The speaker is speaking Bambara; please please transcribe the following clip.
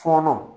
Fɔnɔ